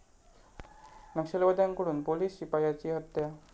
नक्षलवाद्यांकडून police शिपायाची हत्या